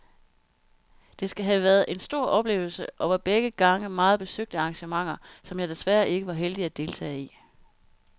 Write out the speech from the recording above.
Det skal have været en stor oplevelse og var begge gange meget besøgte arrangementer, som jeg desværre ikke var heldig at deltage i.